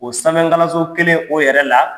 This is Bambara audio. O sanfɛkalanso kelen o yɛrɛ la